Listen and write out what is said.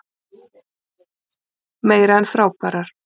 Meira en frábærar.